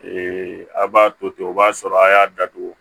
a b'a to ten o b'a sɔrɔ a y'a datugu